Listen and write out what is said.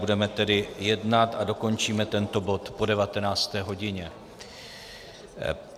Budeme tedy jednat a dokončíme tento bod po 19. hodině.